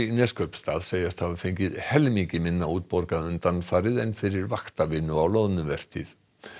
Neskaupstað segjast hafa fengið helmingi minna útborgað undanfarið en fyrir vaktavinnu á loðnuvertíð